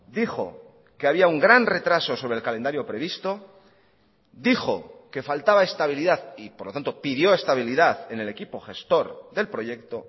dijo que había un gran retraso sobre el calendario previsto dijo que faltaba estabilidad y por lo tanto pidió estabilidad en el equipo gestor del proyecto